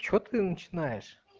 что ты начинаешь